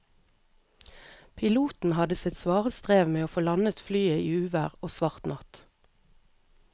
Piloten hadde sitt svare strev med å få landet flyet i uvær og svart natt.